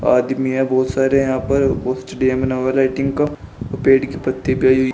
आदमी हैं बहोत सारे यहां पर का पेड़ की पत्ती भी आई हुई--